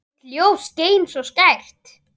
Þitt ljós skein svo skært.